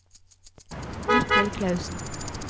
Mikkel Clausen